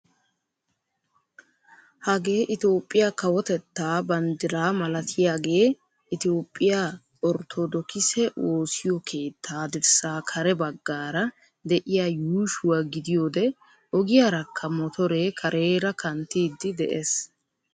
Hagee itoophphiyaa kawotettaa banddiraa malatiyaagee itoophphiyaa orttoodokisse woosiyoo keettaa dirssaa kare baggaara de'iyaa yuushshuwaa gidiyoode ogiyaarakka motoree kareera kanttiidi de'ees.